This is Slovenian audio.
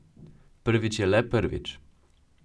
Prvič je le prvič.